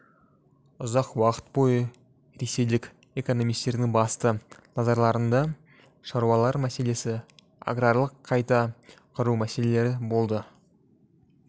ұзақ уақыт бойы ресейлік экономистердің басты назарларында шаруалар мәселесі аграрлық қайта құру мәселелері болды